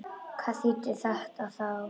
Hvað þýddi þetta þá?